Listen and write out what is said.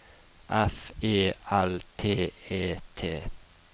F E L T E T